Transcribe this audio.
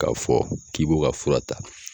k'a fɔ k'i b'o ka fura ta.